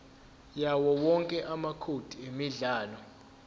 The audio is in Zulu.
yawowonke amacode emidlalo